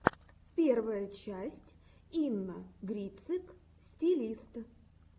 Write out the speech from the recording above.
первая часть инна грицык стилист